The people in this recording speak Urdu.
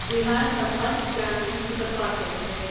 Bihar Sampark Kranti superfast express